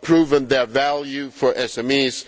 proven their value for SMEs.